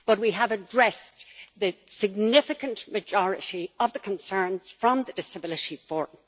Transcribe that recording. But we have addressed the significant majority of the concerns of the Disability Forum.